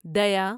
دیا